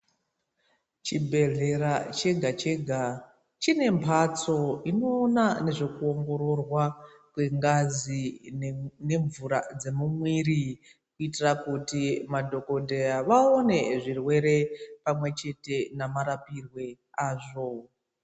Chibhedhlera chega chega chine mphatso inoona ngezvekuongororwa kwengazi nemvura dzemumwiri kuitira kuti madhokodheya vaone zvirwere pamwechete namarapirwe azvo.